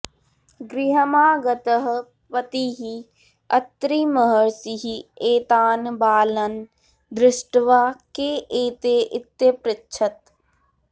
गृहमागतः पतिः अत्रिमहर्षिः एतान् बालन् दृष्ट्वा के एते इत्यपृच्छत्